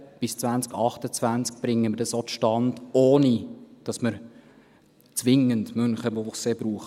Bis 2028 bringen wir dies auch zustande, ohne dass wir Münchenbuchsee zwingend brauchen.